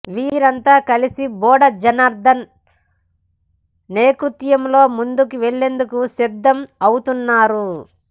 వీరంతా కలిసి బోడ జనార్థన్ నేతృత్వంలో ముందుకు వెళ్లేందుకు సిద్ధం అవుతున్నారు